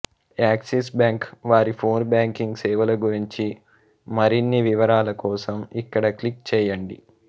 axis bank వారి phone banking సేవలగురించి మరి్న్ని వివరాలకోసం ఇక్కడ క్లిక్ చేయండి